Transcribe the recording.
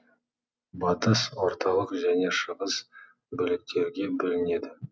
батыс орталық және шығыс бөліктерге бөлінеді